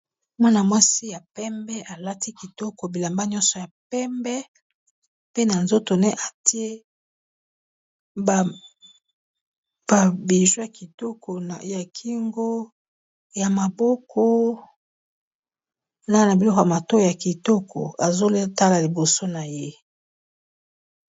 Mwana-mwasi ya pembe alati kitoko bilamba nyonso ya pembe. Pe na nzoto naye atie ba bijou ya kitoko ya kingo, ya maboko, na biloko ya matoyi ya kitoko azo tala liboso naye.